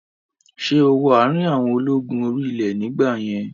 Ṣé ó wọ àrin àwọn ológun orí ilẹ̀ nígbà yẹn?